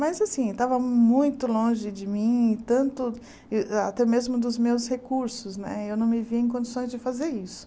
Mas assim, estava muito longe de mim, e tanto até ih eh mesmo dos meus recursos né, eu não me via em condições de fazer isso.